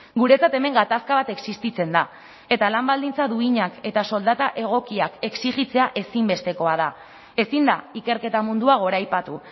guretzat hemen gatazka bat existitzen da eta lan baldintza duinak eta soldata egokiak exijitzea ezinbestekoa da ezin da ikerketa mundua goraipatu